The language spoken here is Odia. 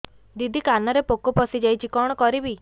ଦିଦି କାନରେ ପୋକ ପଶିଯାଇଛି କଣ କରିଵି